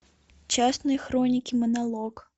частные хроники монолог